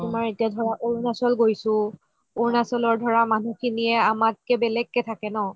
আৰু তুমাৰ এটিয়া ধৰা অৰুণাচল গৈছো অৰুণাচলৰ ধৰা মানুহ খিনিয়ে আমাতকে বেলেগকে থাকে ন